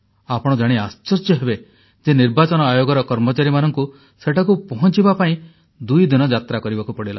ଆପଣ ଜାଣି ଆଶ୍ଚର୍ଯ୍ୟ ହେବେ ଯେ ନିର୍ବାଚନ ଆୟୋଗର କର୍ମଚାରୀମାନଙ୍କୁ ସେଠାକୁ ପହଞ୍ଚିବା ପାଇଁ ଦୁଇ ଦିନ ଯାତ୍ରା କରିବାକୁ ପଡ଼ିଲା